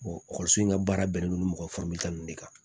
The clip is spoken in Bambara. ekɔliso in ka baara bɛnnen don mɔgɔ ninnu de kan